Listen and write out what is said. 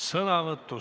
Istung on lõppenud.